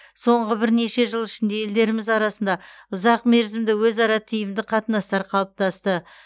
соңғы бірнеше жыл ішінде елдеріміз арасында ұзақ мерзімді өзара тиімді қатынастар қалыптасты